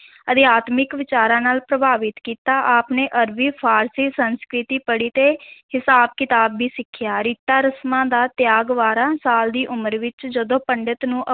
ਅਧਿਆਤਮਿਕ ਵਿਚਾਰਾਂ ਨਾਲ ਪ੍ਰਭਾਵਿਤ ਕੀਤਾ, ਆਪ ਨੇ ਅਰਬੀ, ਫ਼ਾਰਸੀ, ਸੰਸਕ੍ਰਿਤੀ ਪੜ੍ਹੀ ਤੇ ਹਿਸਾਬ-ਕਿਤਾਬ ਵੀ ਸਿਖਿਆ, ਰੀਤਾਂ ਰਸਮਾਂ ਦਾ ਤਿਆਗ ਬਾਰਾਂ ਸਾਲ ਦੀ ਉਮਰ ਵਿੱਚ ਜਦੋਂ ਪੰਡਤ ਨੂੰ